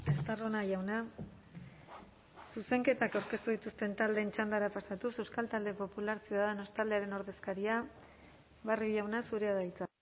estarrona jauna zuzenketak aurkeztu dituzten taldeen txandara pasatuz euskal talde popular ciudadanos taldearen ordezkaria barrio jauna zurea da hitza